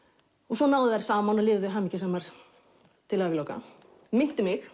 svo náðu þær saman og lifðu hamingjusamar til æviloka minnti mig